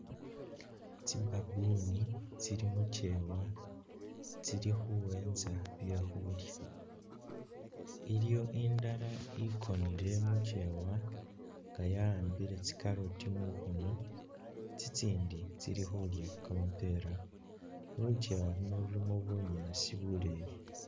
Tsi baboon tsili mukyeewa tsili khuwentsa bye khuulya, iliyo indala ikonele mukyeewa nga yawambile tsi carrot mukhono, tsitsindi tsili khulya kamapeera, lukyeewa uluno lulimo bunyaasi buleeyi.